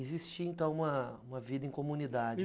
Existia, então, uma uma vida em comunidade.